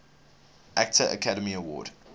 actor academy award